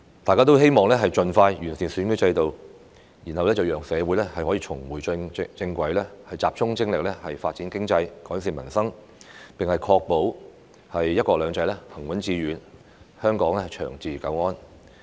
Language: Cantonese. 大家均希望盡快完善選舉制度，讓社會可以重回正軌，集中精力發展經濟，改善民生，並確保"一國兩制"行穩致遠，香港長治久安。